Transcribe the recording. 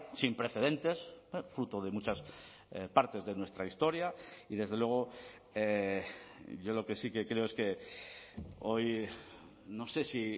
sin precedentes fruto de muchas partes de nuestra historia y desde luego yo lo que sí que creo es que hoy no sé si